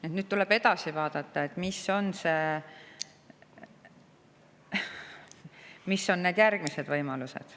Nüüd tuleb edasi vaadata, mis on need järgmised võimalused.